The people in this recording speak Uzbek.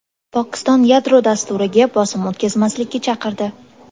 Pokiston yadro dasturiga bosim o‘tkazmaslikka chaqirdi.